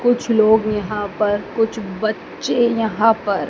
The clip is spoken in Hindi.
कुछ लोग यहां पर कुछ बच्चे यहां पर--